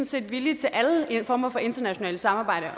set villige til alle former for internationalt samarbejde